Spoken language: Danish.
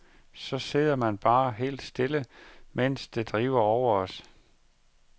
Så sidder man bare helt stille, mens det driver over.